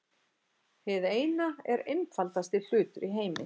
Hið Eina er einfaldasti hlutur í heimi.